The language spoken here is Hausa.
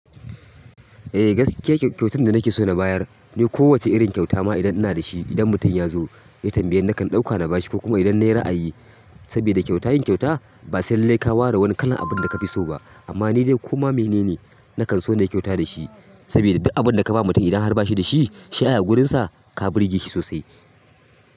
Eh gaskiya kyautan da nake so na bayar ne kowacce irin kyauta ma idan ina da shi, idan mutum ya zo ya tambaye ni nakan ɗauka na bashi ko kuma idan nayi ra'ayi. Sabida kyauta, yin kyauta ba sai lallai ka ware wani kalan abinda kafi so ba amma ni dai koma mene ne nakan so na yi kyauta da shi. Saboda duk abun da ka ba mutum idan har ba shi da shi, shi ai a wurinsa ka burge shi sosai.